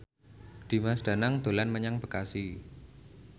Dimas Danang dolan menyang Bekasi